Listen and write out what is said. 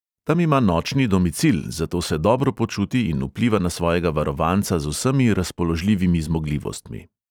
Tam ima nočni domicil, zato se dobro počuti in vpliva na svojega varovanca z vsemi razpoložljivimi zmogljivostmi.